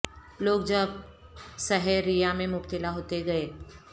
لوگ جب سحر ریا میں مبتلا ہوتے گئے